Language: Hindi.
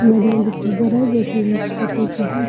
दिखाई दे रहा है जो कि है ।